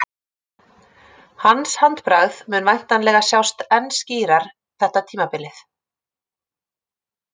Hans handbragð mun væntanlega sjást enn skýrar þetta tímabilið.